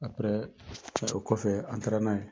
o kɔfɛ an taara n'a ye.